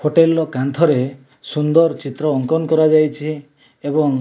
hotel ର କାନ୍ଥରେ ସୁନ୍ଦର ଚିତ୍ର ଅଙ୍କନ କରାଯାଇଛି ଏବଂ --